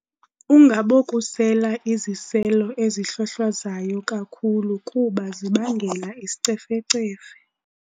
Ungabokusela iziselo ezihlwahlwazayo kakhulu kuba zibangela isicefecefe.